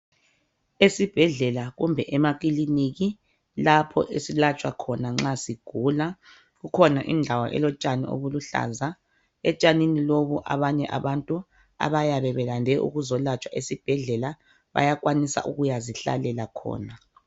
Esibhedlela kumbe emakiliniki lapho esilatshwa khona nxa sigula kukhona indawo elotshani obuluhlaza etshanini lobu abanye abantu abayabe belande ukuzolatshwa esibhedlela bayakwanisa ukuyazihlalela khona.